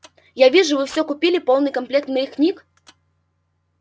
я вижу вы все купили полный комплект моих книг